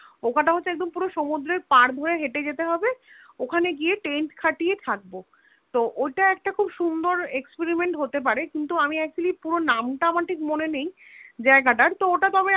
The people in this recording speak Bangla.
ওখানটা হচ্ছে একদম পুরো সমুদ্রের পার ধরে হেঁটে যেতে হবে ওখানে গিয়ে Tent খাটিয়ে থাকব তো ওটা একটা খুব সুন্দর Experiment হতে পারে কিন্তু আমি Actually পুরো নাম টা আমার ঠিক মনে নেই জায়গা টার তো ওটা তবে